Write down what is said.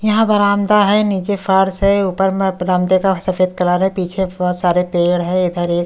यहां बरामदा है नीचे फर्स है ऊपर में बरामदे का सफेद कलर है पीछे बहुत सारे पेड़ है इधर एक--